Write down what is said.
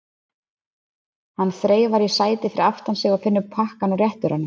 Hann þreifar í sætið fyrir aftan sig og finnur pakkann og réttir honum.